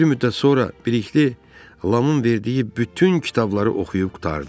Bir müddət sonra Bilikli Lamın verdiyi bütün kitabları oxuyub qurtardı.